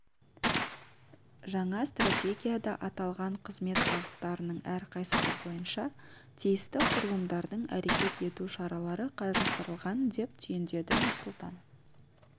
жаңа стратегияда аталған қызмет бағыттарының әрқайсысы бойынша тиісті құрылымдардың әрекет ету шаралары қарастырылған деп түйіндеді нұрсұлтан